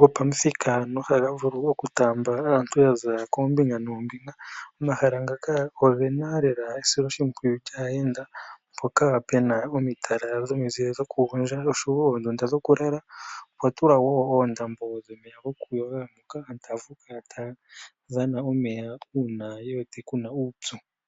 gopamuthika nohaga vulu okutamba aantu yaza koombinga nombinga. Omahala ngaka ogena lela esiloshipwiyu lyaayenda mpoka pena omatala gomizile goku gondja, oshowo oondundu dhoku lala, opwa tulwa wo uundambo dhomeya gokuyoga ngoka aantu taya vulu okukala taya dhana omeya una ye wete kuna uupyu.